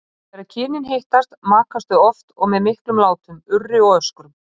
Þegar kynin hittast makast þau oft og með miklum látum, urri og öskrum.